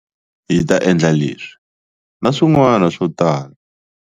Hi ta endla leswi na swin'wana swo tala.